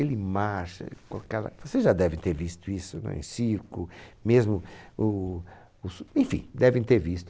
Ele marcha, com aquela... você já deve ter visto isso em circo, mesmo, o, o su, enfim, devem ter visto.